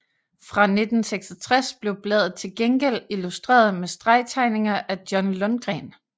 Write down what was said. Fra 1966 blev bladet til gengæld illustreret med stregtegninger af John Lundgren